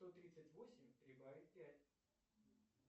сто тридцать восемь прибавить пять